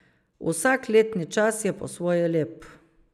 Vsak letni čas je po svoje lep.